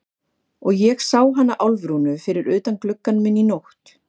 Og ég sá hana Álfrúnu fyrir utan gluggann minn í nótt.